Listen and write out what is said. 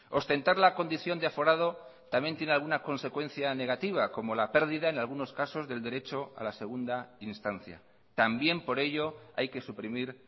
ostentar la condición de aforado también tiene alguna consecuencia negativa como la pérdida en algunos casos del derecho a la segunda instancia también por ello hay que suprimir